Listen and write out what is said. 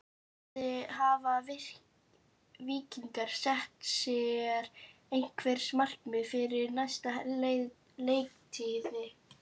Hafa Víkingar sett sér einhver markmið fyrir næstu leiktíð?